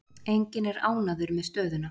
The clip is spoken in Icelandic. Enginn er ánægður með stöðuna.